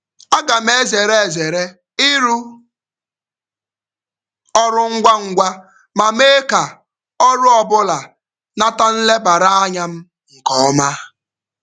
Aga m ezere ezere ịrụ ọrụ ngwa ngwa ma mee ka ọrụ ọbụla nata nlebara anya m nke ọma.